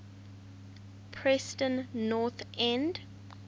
preston north end